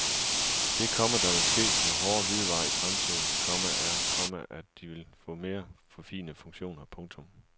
Det, komma der vil ske med hårde hvidevarer i fremtiden, komma er, komma at de vil få mere forfinede funktioner. punktum